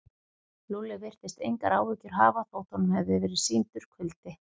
Lúlli virtist engar áhyggjur hafa þótt honum hefði verið sýndur kuldi.